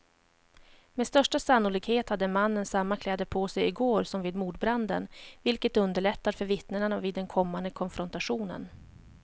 Med största sannolikhet hade mannen samma kläder på sig i går som vid mordbranden, vilket underlättar för vittnena vid den kommande konfrontationen.